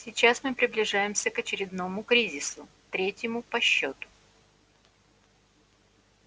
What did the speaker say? сейчас мы приближаемся к очередному кризису третьему по счету